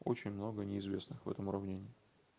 очень много неизвестных в этом уравнении